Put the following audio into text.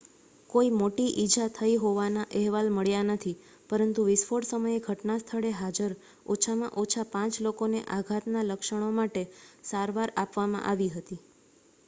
કોઈ મોટી ઈજા થઈ હોવાના અહેવાલ મળ્યા નથી પરંતુ વિસ્ફોટ સમયે ઘટનાસ્થળે હાજર ઓછામાં ઓછા પાંચ લોકોને આઘાતના લક્ષણો માટે સારવાર આપવામાં આવી હતી